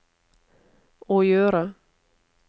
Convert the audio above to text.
å gjøre